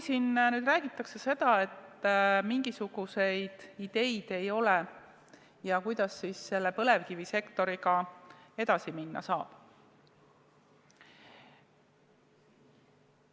Siin on kõlanud, et mingisuguseid ideid ei ole ja kuidas ikkagi põlevkivisektoriga edasi minna saab.